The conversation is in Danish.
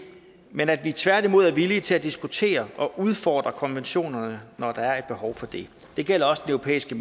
men at vi tværtimod er villige til at diskutere og udfordre konventionerne når der er et behov for det det gælder også den europæiske